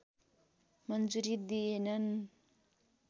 मन्जुरी दिएनन्